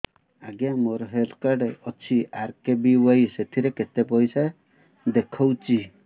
ଆଜ୍ଞା ମୋର health card ଅଛି ଆର୍.କେ.ବି.ୱାଇ ସେଥିରେ କେତେ ପଇସା ଦେଖଉଛି